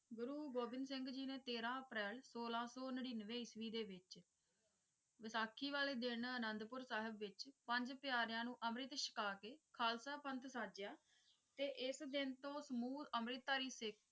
ਗੁਰੂ ਗੋਬਿੰਦ ਸਿੰਘ ਜੀ ਨੇ ਤੇਰਾਂ ਅਪ੍ਰੈਲ ਸੋਲਾਂ ਸੌ ਨੜ੍ਹਿਨਵੇਂ ਈਸਵੀ ਦੇ ਵਿੱਚ ਵਿਸਾਖੀ ਵਾਲੇ ਦਿਨ ਅਨੰਦਪੁਰ ਸਾਹਿਬ ਵਿੱਚ ਪੰਜ ਪਿਆਰਿਆਂ ਨੂੰ ਅਮ੍ਰਿਤ ਛਕਾ ਕੇ ਖ਼ਾਲਸਾ ਪੰਥ ਸਾਜਿਆ ਤੇ ਇਸ ਦਿਨ ਤੋਂ ਸਮੂਹ ਅੰਮ੍ਰਿਤਧਾਰੀ ਸਿੱਖ।